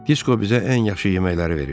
Disko bizə ən yaxşı yeməkləri verirdi.